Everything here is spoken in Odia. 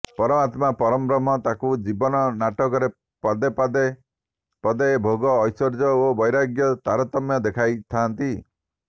ପରମାତ୍ମା ପରଂବ୍ରହ୍ମ ତାକୁ ଜୀବନ ନାଟକରେ ପାଦେ ପାଦେ ପଦେ ଭୋଗ ଐଶ୍ୱର୍ଯ୍ୟ ଓ ବୈରାଗ୍ୟର ତାରତମ୍ୟ ଦେଖାଇଥାଆନ୍ତି